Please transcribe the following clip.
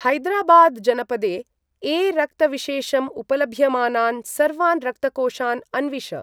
हैदराबाद् जनपदे ए रक्तविशेषम् उपलभ्यमानान् सर्वान् रक्तकोषान् अन्विष।